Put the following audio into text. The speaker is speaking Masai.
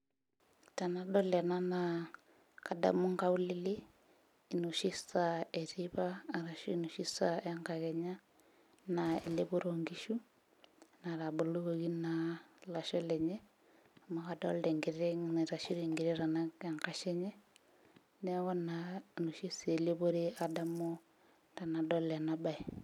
Tenadol ena naa kadamu nkaulele, enoshi saa eteipa arashu enoshi saa enkakenya. Naa elepoto onkishu, natabolokoki naa lasho lenye, amu kadolta enkiteng naitasho egira aitanak enkashe enye. Neeku naa enoshi saa elepore adamu tenadol enabae.